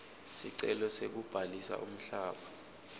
sicelo sekubhalisa umhlaba